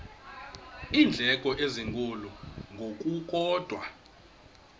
iindleko ezinkulu ngokukodwa